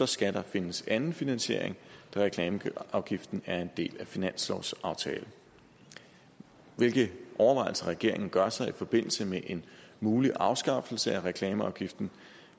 skal der findes anden finansiering da reklameafgiften er en del af finanslovsaftalen hvilke overvejelser regeringen gør sig i forbindelse med en mulig afskaffelse af reklameafgiften